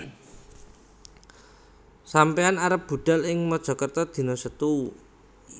Sampeyan arep budhal ing Mojokerto dino Setu